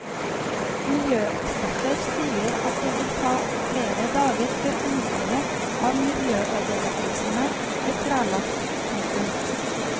Miljøeksperter sier at det vil ta flere dager før omfanget av miljøødeleggelsene er klarlagt. punktum